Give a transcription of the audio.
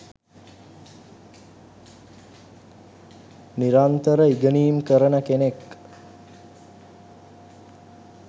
නිරන්තර ඉගෙනීම් කරන කෙනෙක්.